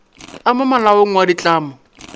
a mo molaong wa ditlamo